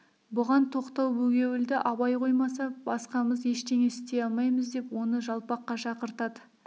бұған тоқтау бөгеуілді абай қоймаса басқамыз ештеңе істей алмаймыз деп оны жалпаққа шақыртады